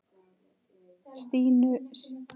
Stínu sér við hlið.